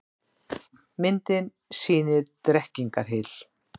Myndin sýnir Drekkingarhyl.